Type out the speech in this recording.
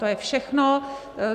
To je všechno.